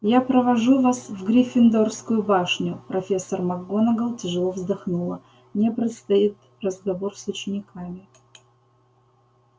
я провожу вас в гриффиндорскую башню профессор макгонагалл тяжело вздохнула мне предстоит разговор с учениками